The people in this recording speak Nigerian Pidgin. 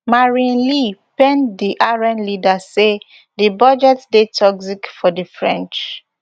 marine le pen di rn leader say di budget dey toxic for di french